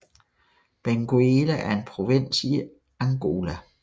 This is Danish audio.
Benguela er en provins i Angola